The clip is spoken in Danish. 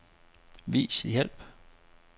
Vis hjælp.